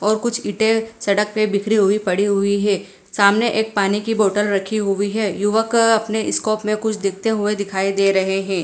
और कुछ ईंटे सड़क पे बिखरी हुई पड़ी हुई है सामने एक पानी की बॉटल रखी हुई है युवक अपने स्कोप में कुछ देखते हुए दिखाई दे रहे हैं।